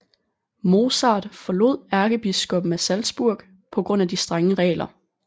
Mozart forlod ærkebiskopen af Salzburg på grund af de strenge regler